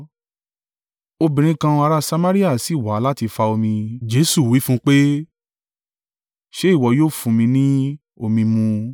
Obìnrin kan, ará Samaria sì wá láti fà omi, Jesu wí fún un pé ṣe ìwọ yóò fún mi ni omi mu.